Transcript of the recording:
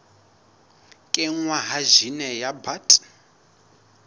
kenngwa ha jine ya bt